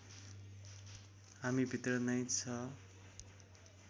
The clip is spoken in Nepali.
हामी भित्र नै छ